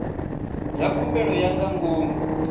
dza khumbelo ya nga ngomu